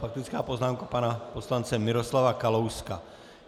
Faktická poznámka pana poslance Miroslava Kalouska.